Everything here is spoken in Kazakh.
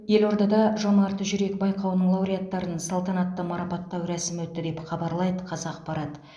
елордада жомарт жүрек байқауының лауреаттарын салтанатты марапаттау рәсімі өтті деп хабарлайды қазақпарат